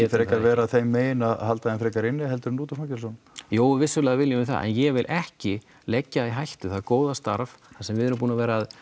frekar vera þeim megin að halda þeim frekar inni heldur en út úr fangelsunum jú vissulega viljum við það en ég vil ekki leggja í hættu það góða starf þar sem við erum búin að vera